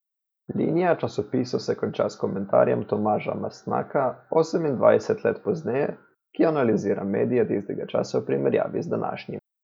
Linija časopisov se konča s komentarjem Tomaža Mastnaka Osemindvajset let pozneje, ki analizira medije tistega časa v primerjavi z današnjim.